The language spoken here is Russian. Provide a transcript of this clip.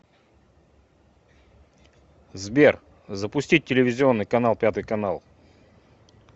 сбер запустить телевизионный канал пятый канал